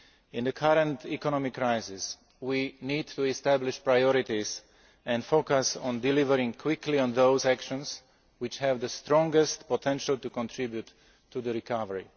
In the current economic crisis, we need to establish priorities and focus on delivering quickly on those actions which have the strongest potential to contribute to recovery.